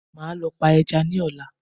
Màá lọ pa ẹja ní ọ̀la